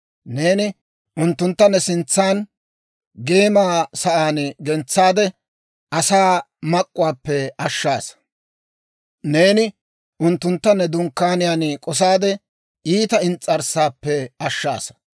Neeni unttuntta ne sintsan geema sa'aan gentsaade, asaa mak'k'uwaappe ashshaasa. Neeni unttuntta ne dunkkaaniyaan k'osaade, iita ins's'arssaappe ashshaasa.